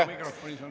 Ei saa?